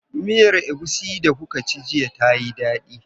Miyar egusi da kuka ci jiya tayi dadi?